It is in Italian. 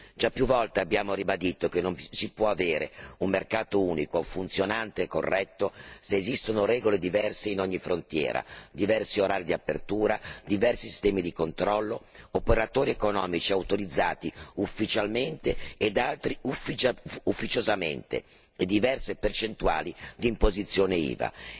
Già più volte abbiamo ribadito che non può esserci un mercato unico funzionante e corretto se esistono regole diverse in ogni frontiera diversi orari di apertura, diversi sistemi di controllo, operatori economici autorizzati ufficialmente e altri ufficiosamente, diverse percentuali di imposizione IVA.